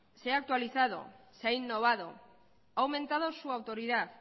se ha actualizado se ha innovado ha aumentado su autoridad